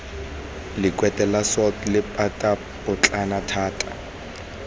lekwete la salt lephatapotlana la